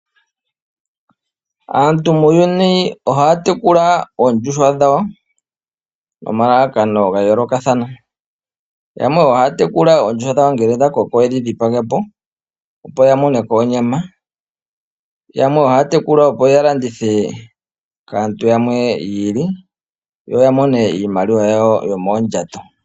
Aantu muuyuni ohaya tekula oondjuhwa dhawo nomalalakano ga yoolokathana. Yamwe ohaya tekula oondjuhwa dhawo ngele dha koko yedhi dhipage po, opo ya moneko onyama. Yamwe ohaya tekula opo ya landithe kaantu yamwe yi ili, yo ya mone iimaliwa yawo yomoondjato.